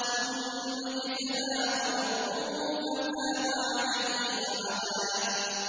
ثُمَّ اجْتَبَاهُ رَبُّهُ فَتَابَ عَلَيْهِ وَهَدَىٰ